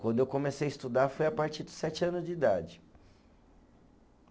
Quando eu comecei a estudar, foi a partir dos sete anos de idade.